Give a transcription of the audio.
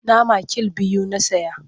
Nama kill biyu na saya.